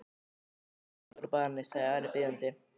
Leystu Daða úr banni, sagði Ari biðjandi.